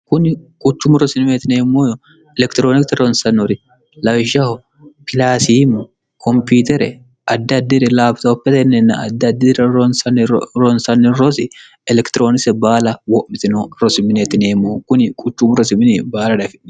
kuni quchumu rosieinemmooyo elekitiroonikte ronsanori lawishshaho pilasiimu komputere addiaddiri laaiotenninna addaddiiira ronsanni rosi elekitiroonise baala wo'mitino rosimineetineemmo kuni quchumu rosimini baala dafe